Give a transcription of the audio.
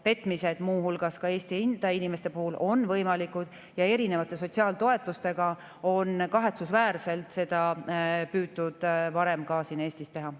Petmised, muu hulgas Eesti enda inimeste puhul, on võimalikud ja erinevate sotsiaaltoetuste abil on seda kahetsusväärselt püütud varem ka siin Eestis teha.